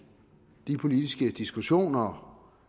de politiske diskussioner